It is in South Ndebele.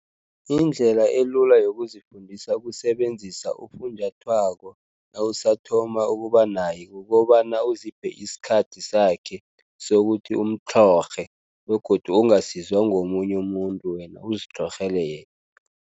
Indlela elula yokuzifundisa ukusebenzisa ufunjathwako nawusathoma ukuba naye kukobana uziphe isikhathi sakhe sokuthi umtlhorhe begodu ungasizwa ngomunye umuntu wena uzitlhorhele yena.